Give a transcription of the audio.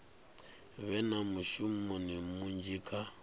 vhe na mushumo munzhi kha